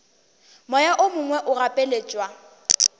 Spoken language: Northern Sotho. moya o mongwe o gapeletšwa